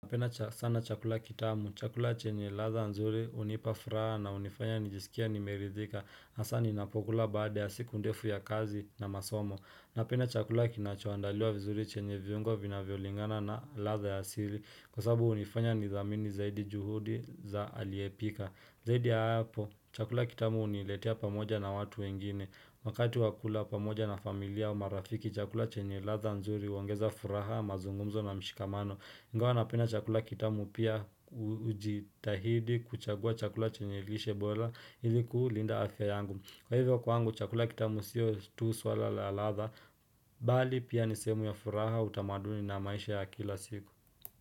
Napenda sana chakula kitamu, chakula chenye ladha nzuri hunipa furaha na hunifanya nijisikie nimeridhika hasa ninapokula baada ya siku ndefu ya kazi na masomo Napenda chakula kinachoandaliwa vizuri chenye viungo vinavyolingana na ladha ya asili Kwa sababu hunifanya nidhamini zaidi juhudi za aliyepika Zaidi ya hapo, chakula kitamu huniletea pamoja na watu wengine Wakati wakula pamoja na familia wa marafiki chakula chenye ladha nzuri huongeza furaha, mazungumzo na mshikamano ingawa wanapenda chakula kitamu pia ujitahidi kuchagua chakula chenye lishe bola ili kulinda afya yangu. Kwa hivyo kwangu chakula kitamu siyo tu swala la ladha. Bali pia nisehemu ya furaha utamaduni na maisha ya kila siku.